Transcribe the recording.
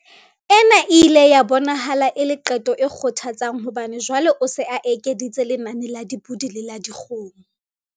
Ena e ile ya bonahala e le qeto e kgothatsang hobane jwale o se a ekeditse lenane la dipodi le la dikgomo.